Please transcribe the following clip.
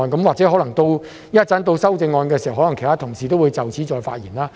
或者稍後辯論修正案的時候，其他同事可能會就此再次發言。